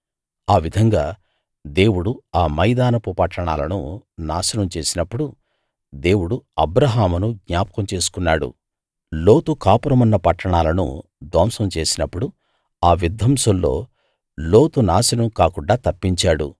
ఆ విధంగా దేవుడు ఆ మైదానపు పట్టణాలను నాశనం చేసినప్పుడు దేవుడు అబ్రాహామును జ్ఞాపకం చేసుకున్నాడు లోతు కాపురమున్న పట్టణాలను ధ్వంసం చేసినప్పుడు ఆ విధ్వంసంలో లోతు నాశనం కాకుండా తప్పించాడు